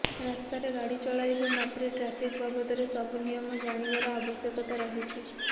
ରାସ୍ତାରେ ଗାଡ଼ି ଚଳାଇବା ମାତ୍ରେ ଟ୍ରାଫିକ ବାବଦରେ ସବୁ ନିୟମ ଜାଣିବାର ଆବଶ୍ୟକତା ରହିଛି